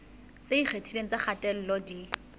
tse ikgethileng tsa kgatello di